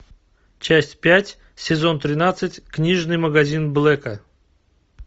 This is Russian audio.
часть пять сезон тринадцать книжный магазин блэка